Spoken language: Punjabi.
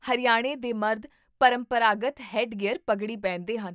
ਹਰਿਆਣੇ ਦੇ ਮਰਦ ਪਰੰਪਰਾਗਤ ਹੈੱਡਗੇਅਰ ਪਗੜੀ ਪਹਿਨਦੇ ਹਨ